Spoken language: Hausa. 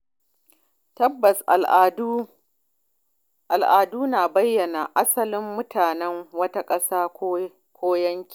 Tabbas Al’adu na bayyana asalin mutanen wata ƙasa ko yanki.